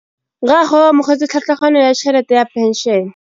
Rragwe o amogetse tlhatlhaganyô ya tšhelête ya phenšene.